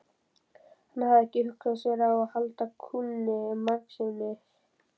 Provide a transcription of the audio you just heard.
Hann hafði ekki hugsað sér að halda kúnni margsinnis.